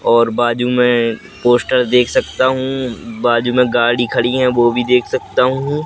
और बाजू में पोस्टर देख सकता हूं बाजू में गाड़ी खड़ी हैं वो भी देख सकता हूं।